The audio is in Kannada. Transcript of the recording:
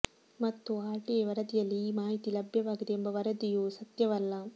ಮತ್ತು ಆರ್ಟಿಐ ವರದಿಯಲ್ಲೇ ಈ ಮಾಹಿತಿ ಲಭ್ಯವಾಗಿದೆ ಎಂಬ ವರದಿಯೂ ಸತ್ಯವಲ್ಲ